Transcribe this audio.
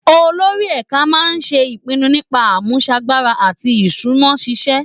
Olórí ẹ̀ka máa ń ṣe ìpinnu nípa àmúṣagbára àti ìṣúná ṣíṣe